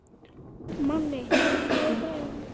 Manni, lækkaðu í græjunum.